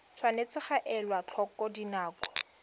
tshwanetse ga elwa tlhoko dinako